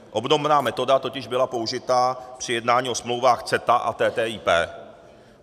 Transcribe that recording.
Obdobná metoda totiž byla použita při jednání o smlouvách CETA a TTIP.